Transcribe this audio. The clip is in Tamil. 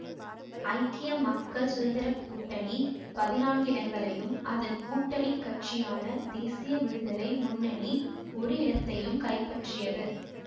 ஐக்கிய மக்கள் சுதந்திர கூட்டணி பதினான்கு இடங்களையும் அதன் கூட்டணி கட்சியான தேசிய விடுதலை முன்னணி ஒரு இடத்தையும் கைப்பற்றியது